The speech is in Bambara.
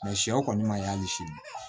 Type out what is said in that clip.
Mɛ sɛw kɔni ma y'ali sini